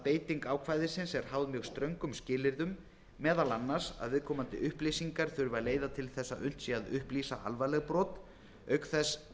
beiting ákvæðisins er háð mjög ströngum skilyrðum meðal annars að viðkomandi upplýsingar þurfi að leiða til þess að unnt sé að upplýsa alvarleg brot auk þess